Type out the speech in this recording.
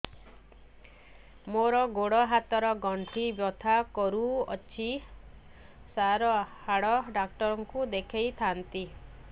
ମୋର ଗୋଡ ହାତ ର ଗଣ୍ଠି ବଥା କରୁଛି ସାର ହାଡ଼ ଡାକ୍ତର ଙ୍କୁ ଦେଖାଇ ଥାନ୍ତି